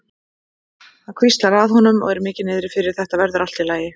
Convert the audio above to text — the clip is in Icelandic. Hann hvíslar að honum og er mikið niðri fyrir: Þetta verður allt í lagi.